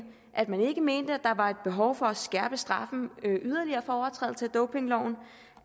at man ikke mente at der var behov for at skærpe straffen yderligere for overtrædelse af dopingloven